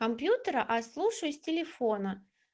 с компьютера её слушаю с телефона